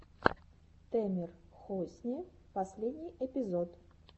тэмер хосни последний эпизод